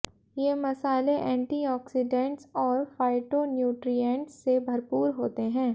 ये मसाले antioxidants और फाइटोन्यूट्रिएंट्स से भरपूर होते हैं